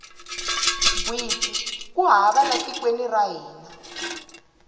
gwitsi ku hava laha tikweni ra hina